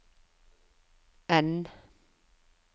N